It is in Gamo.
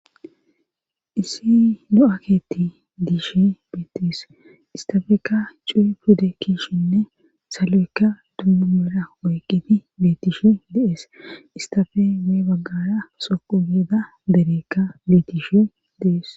Issi do'aketti diishe beetes istafekka cuu pudde kishinne saloykka dummumera oyqqiti betishe deees istafe wee baggara soqu geeda dereekka betishe dees.